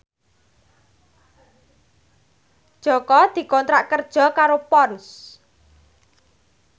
Jaka dikontrak kerja karo Ponds